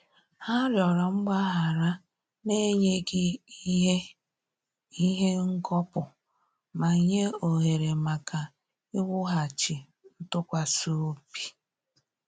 Ha rịọrọ mgbaghara na-enyeghi ihe ihe ngọpu ma nye ohere maka iwughachi ntụkwasịobi